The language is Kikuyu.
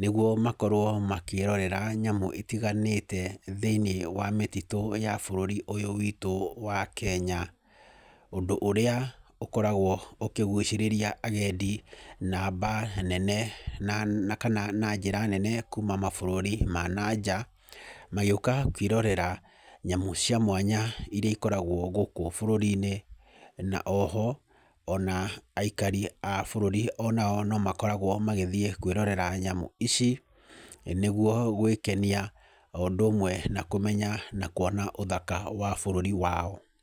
nĩguo makorwo makĩrorera nyamũ itiganĩte thĩiniĩ wa mĩtitũ ya bũrũri ũyũ witũ wa Kenya. Ũndũ ũria ũkoragwo ũkĩgũcĩrĩria agendi namba nene, na kana na njĩra nene kuuma mabũrũri ma na nja, magĩũka kwĩrorera nyamũ cia mwanya irĩa ikoragwo gũkũ bũrũri-inĩ. Na o ho ona aikari a bũrũri onao no makoragwo magĩthiĩ kwĩrorera nyamũ ici, nĩguo gwĩkenia o ũndũ ũmwe na kũmenya, na kũona ũthaka wa bũrũri wao.